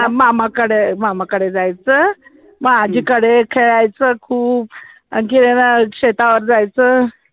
मामाकडं मामाकडं जायचं मं आज्जी कडे खेळायचं खूप खेळायला शेतावर जायचं